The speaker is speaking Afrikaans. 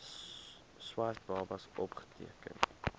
swart babas opgeteken